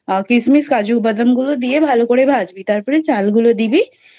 কিশমিশ কাজুবাদাম গুলো দিয়ে ভ্যাল করে ভাঁজবি তারপরে চাল গুলো দিবি